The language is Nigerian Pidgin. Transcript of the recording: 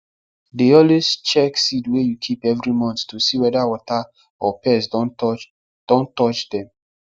dey always check seed wey you keep every month to see whether water or pest don touch don touch dem